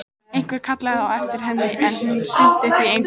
Einhver kallaði á eftir henni, en hún sinnti því engu.